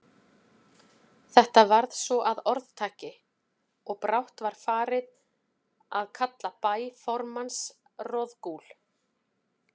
Þetta varð svo að orðtaki, og brátt var farið að kalla bæ formanns Roðgúl.